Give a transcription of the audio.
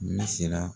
Ne siranna